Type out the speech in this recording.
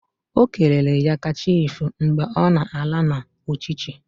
Okelere ya kachifo mgbe ọ na-ala na uchichi